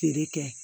Feere kɛ